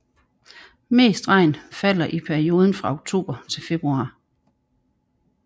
Mest regn falder i perioden fra oktober til februar